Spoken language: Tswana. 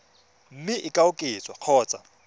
mme e ka oketswa kgotsa